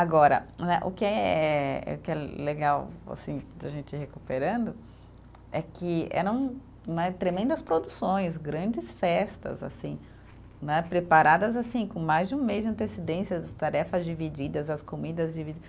Agora né, o que é, o que é legal assim, da gente ir recuperando é que eram né, tremendas produções, grandes festas assim, né, preparadas assim com mais de um mês de antecedência, as tarefas divididas, as comidas dividi